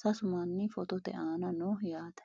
sasu manni footote aana no yaate